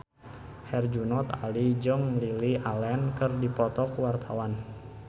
Herjunot Ali jeung Lily Allen keur dipoto ku wartawan